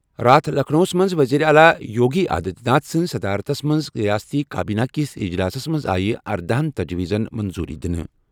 راتھ لکھنؤَس منٛز وزیر اعلیٰ یوگی آدتیہ ناتھ سنٛز صدارتس منٛز ریاستی کابینہ کِس اجلاسَس منٛز آیہِ ارداہن تجویٖزَن منظوٗری دِنہٕ۔